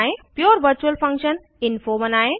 pure virtual function info बनायें